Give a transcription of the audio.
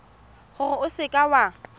gore o seka w a